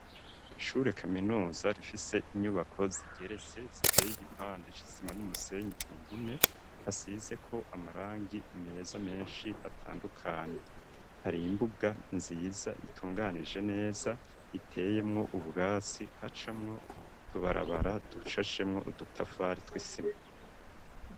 Ishure kaminuza rifise inyubako zigeretse ziteye igipande c'isima n'umusenyi ku mpome hasize ko amarangi meza meshi atandukanye hari imbuga nziza itunganije neza iteyemwo ubwatsi hacamwo utubarabara dushashemwo udutafari tw'isima